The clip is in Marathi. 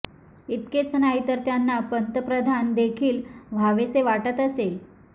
इतकेच नाही तर त्यांना पंतप्रधान देखील व्हावेसे वाटत असेल